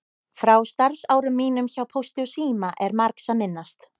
Frá starfsárum mínum hjá Pósti og síma er margs að minnast.